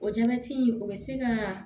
O jabɛti in o bɛ se ka